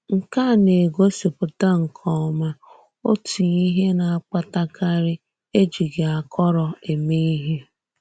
Nke a na-egòsìpùtà nke ọma òtù íhè na-akpàtàkàrì ejìghì àkòrò èmè íhè.